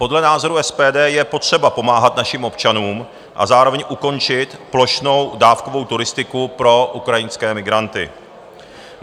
Podle názoru SPD je potřeba pomáhat našim občanům a zároveň ukončit plošnou dávkovou turistiku pro ukrajinské migranty.